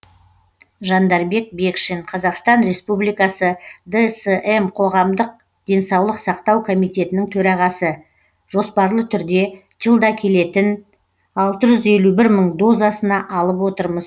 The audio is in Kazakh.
жандарбек бекшин қазақстан республикасы дсм қоғамдық денсаулық сақтау комитетінің төрағасы жоспарлы түрде жылда келетін алты жүз елу бір мың дозасына алып отырмыз